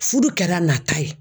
Fudu kɛra nata ye.